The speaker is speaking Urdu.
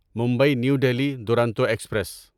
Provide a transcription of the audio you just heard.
Mumbai new Delhi Duronto express